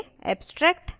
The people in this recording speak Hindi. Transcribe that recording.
*abstract classes